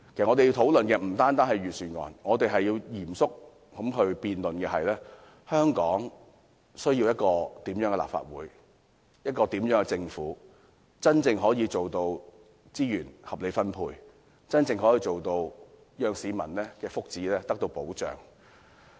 我們要討論的不單是預算案，還要嚴肅辯論的是，香港需要一個怎麼樣的立法會、政府，才能夠真正做到資源合理分配，讓市民的福祉得到保障？